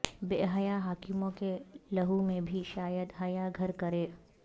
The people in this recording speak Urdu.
بے حیا حاکموں کے لہو میں بھی شاید حیا گھر کرے